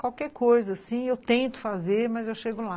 Qualquer coisa, sim, eu tento fazer, mas eu chego lá.